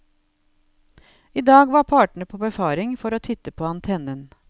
I dag var partene på befaring for å titte på antennen.